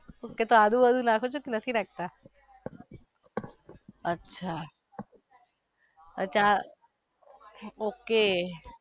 એટલે આદુ બાદુ નાખો છો કે નથી રાખતા અચ્છા okay